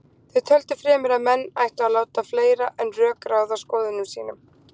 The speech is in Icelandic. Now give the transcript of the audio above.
Þeir töldu fremur að menn ættu að láta fleira en rök ráða skoðunum sínum.